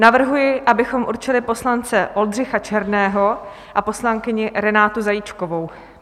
Navrhuji, abychom určili poslance Oldřicha Černého a poslankyni Renátu Zajíčkovou.